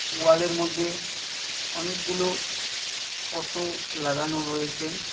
ওয়ালের মধ্যে অনেকগুলো ফটো লাগানো রয়েছে।